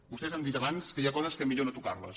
vostès han dit abans que hi ha coses que millor no tocarles